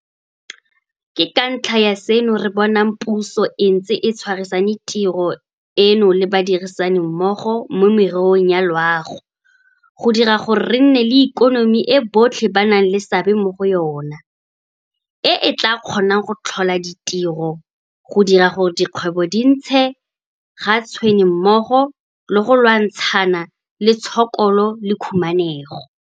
Ke ka ntlha ya seno re bonang puso e ntse e tshwarisane tiro eno le badirisanimmogo mo mererong ya loago go dira gore re nne le ikonomi e botlhe ba nang le seabe mo go yona, e e tla kgonang go tlhola ditiro, go dira gore dikgwebo di ntshe ga tshwene mmogo le go lwantshana le tshokolo le khumanego.